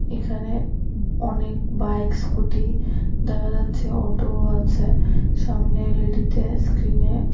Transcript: এখানে অনেক bike scooty দেখা যাচ্ছে অটোও আছে সামনে এল_ই_ডিতে স্ক্রিনে --